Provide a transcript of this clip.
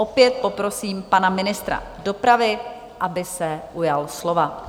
Opět poprosím pana ministra dopravy, aby se ujal slova.